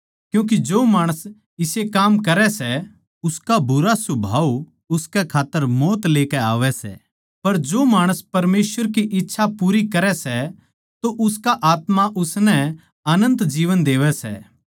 क्यूँके जो माणस इसे काम करै सै उसका बुरा सुभाव उसकै खात्तर मौत लेकै आवै सै पर जो माणस परमेसवर की इच्छा पूरी करै सै तो उसका आत्मा उसनै अनन्त जीवन देवै सै